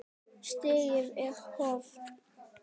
Stigið er í höfn!